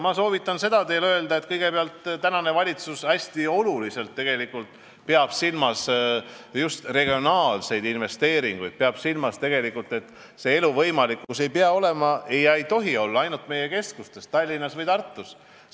Ma soovitan teil öelda, kõigepealt, et valitsus peab tähtsaks regionaalseid investeeringuid, jälgib, et elu ei pea olema ega tohi olla võimalik ainult keskustes Tallinnas või Tartus.